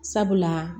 Sabula